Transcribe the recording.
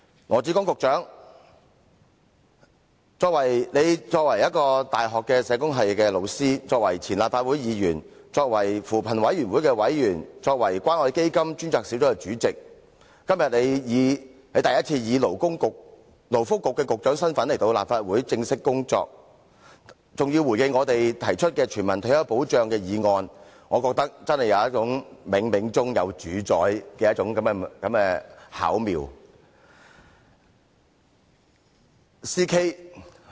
羅致光局長作為大學社會工作學系導師、前立法會議員、扶貧委員會委員及關愛基金專責小組主席，今天第一次以勞工及福利局局長的身份前來立法會正式工作，還要回應我們提出關乎全民退休保障的議案，我真的有種冥冥中自有主宰的巧妙之感。